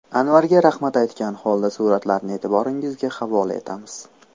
Anvarga rahmat aytgan holda suratlarni e’tiboringizga havola etamiz.